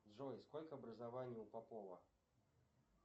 джой сколько образований у попова